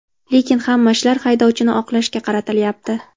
Lekin hamma ishlar haydovchini oqlashga qaratilyapti”.